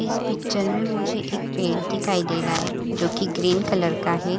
इस पिक्चर में मुझे एक पेड़ दिखाई दे रहा है जो कि ग्रीन कलर का है।